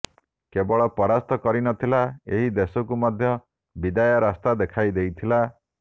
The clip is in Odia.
କେବଳ ପରାସ୍ତ କରିନଥିଲା ଏହି ଦେଶକୁ ମଧ୍ୟ ବିଦାୟ ରାସ୍ତା ଦେଖାଇ ଦେଇଥିଲା